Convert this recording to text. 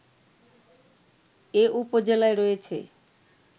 এ উপজেলায় রয়েছে